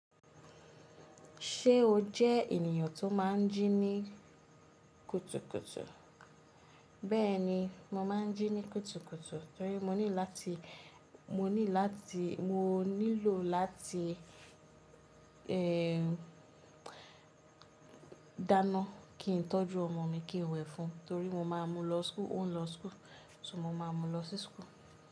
Ṣé o jẹ ènìyàn tó máa ń jí ní kùtùkùtù? Bẹ́ẹ̀ni, mo máa ń jí ní kùtùkùtù torí mo nílò láti dáná kí n tọ́jú ọmọ mi kí ó wẹ̀ fún, torí mo máa mú lọ school, o ń lọ school, só mo ma mú lọ sí school.